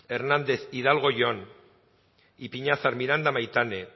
hernández hidalgo jon ipiñazar miranda maitane